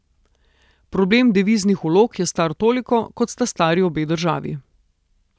Problem deviznih vlog je star toliko, kot sta stari obe državi.